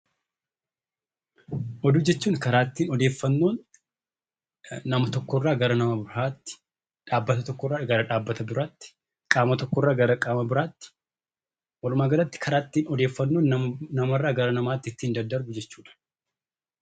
Oduu jechuun karaa ittiin odeeffannoon nama tokko irraa gara nama biraatti, dhaabbata tokko irraa gara dhaabbata biraatti, qaama tokko irraa gara qaama biraatti walumaagalatti karaa ittiin odeeffannoon namarraa gara namaatti ittiin daddarbu jechuudha.